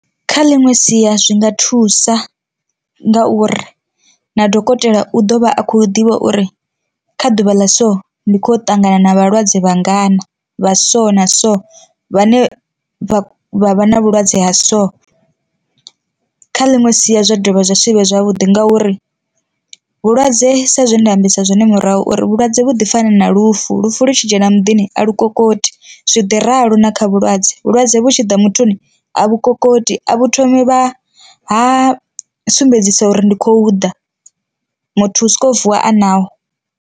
Kha ḽiṅwe sia zwi nga thusa nga uri na dokotela u ḓovha a khou ḓivha uri kha ḓuvha ḽa so ndi khoya u ṱangana na vhalwadze vha ngana vha so na so vhane vha vha vha na vhulwadze ha so. Kha ḽiṅwe sia zwa dovha zwa sivhe zwavhuḓi ngauri vhulwadze sa zwe nda ambisa zwone murahu uri vhulwadze vhu ḓi fani na lufu, lufu lu tshi dzhena muḓini a lu kokoti zwi ḓi ralo na kha vhulwadze vhulwadze vhu tshi ḓa muthuni a vhu kokoti a vhu thomi vha ha sumbedzisa uri ndi khou ḓa muthu u soko vuwa a naho.